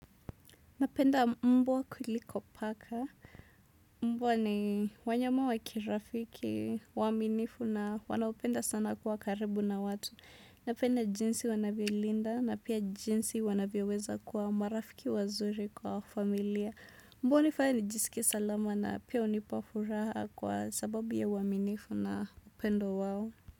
Napenda mbwa kuliko paka Mbwa ni wanyama wa kirafiki, waminifu na wanaopenda sana kuwa karibu na watu Napenda jinsi wanavyolinda na pia jinsi wanavyoweza kuwa marafiki wazuri kwa familia Mbwa unifanya nijisikie salama na pia unipa furaha kwa sababu ya uaminifu na upendo wao.